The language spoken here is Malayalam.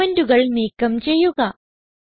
കമന്റുകൾ നീക്കം ചെയ്യുക